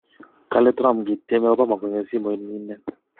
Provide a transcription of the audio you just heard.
kale Trump kityeme Obama kongem simoit nyinet